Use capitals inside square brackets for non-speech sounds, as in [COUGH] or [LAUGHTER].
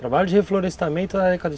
Trabalho de reflorestamento [UNINTELLIGIBLE]